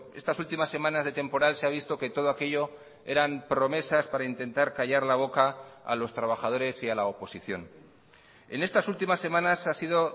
estas últimas semanas de temporal se ha visto que todo aquello eran promesas para intentar callar la boca a los trabajadores y a la oposición en estas últimas semanas ha sido